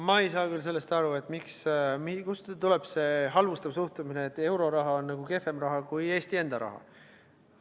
Ma ei saa sellest aru, kust tuleb see halvustav suhtumine, et euroraha on kehvem raha kui Eesti enda raha vastu.